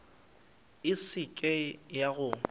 e se ke ya go